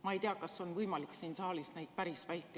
Ma ei tea, kas on võimalik siin saalis neid päris vältida.